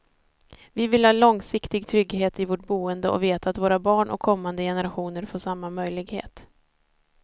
Vi vill ha långsiktig trygghet i vårt boende och veta att våra barn och kommande generationer får samma möjlighet.